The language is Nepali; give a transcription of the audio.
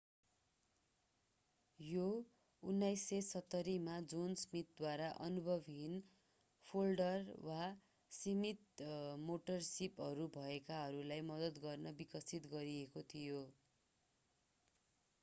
यो 1970 मा जोन स्मिथद्वारा अनुभवहीन फोल्डर वा सीमित मोटर सिपहरू भएकाहरूलाई मद्दत गर्न विकसित गरिएको थियो